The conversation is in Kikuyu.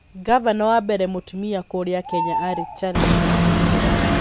Ngavana wa mbere mũtumia kũrĩa Kenya aarĩ Charity Ngilu.